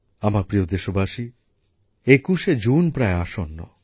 আমার প্রিয় দেশবাসী একুশে জুন প্রায় আসন্ন